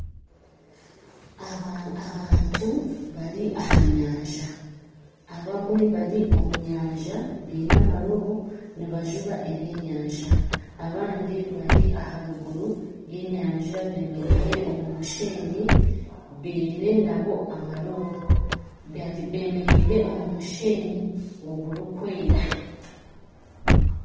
Abantu bari aha nyanja abamwe bari omu nyanja nibajuba ebyenyanja abandi bari aharuguru y'enyanja bemereire omu musheenyi baine nabo amarobo bemereire omu musheenyi ogurikwera